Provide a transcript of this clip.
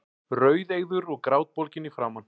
Rauðeygður og grátbólginn í framan.